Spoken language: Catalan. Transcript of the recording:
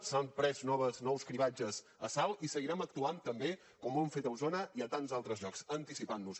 s’han fet nous cribratges a salt i seguirem actuant també com ho hem fet a osona i a tants altres llocs anticipant nos